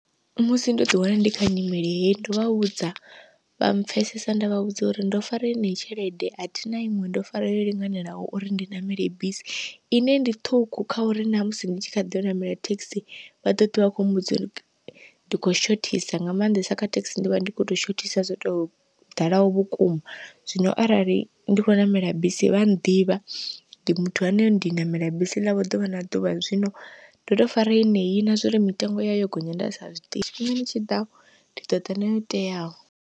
Musi ndo ḓi wana ndi kha nyimele heyi ndovha vhudza vha mpfhesesa, nda vha vhudza uri ndo fara yeneyi tshelede athina iṅwe ndo fara yo linganelaho uri ndi ṋamele bisi ine ndi ṱhukhu kha uri namusi ndi tshi kha ḓiyo ṋamela thekhisi vha ḓo ḓivha khou mbudza ndi kho shothisa, nga maanḓesa kha thekhisi ndi vha ndi kho to shothisa zwo to ḓalaho vhukuma. Zwino arali ndi kho ṋamela bisi vha ḓivha ndi muthu ane ndi ṋamela bisi ḽavho ḓuvha na ḓuvha, zwino ndo to fara yeneyi na zwori mitengo yayo gonya nda sa zwiḓivhi tshifhingani tshiḓaho ndi ḓoḓa nayo teaho.